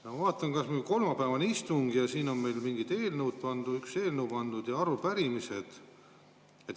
Ma vaatan, kas või kolmapäevane istung: siia on pandud üks eelnõu ja arupärimised.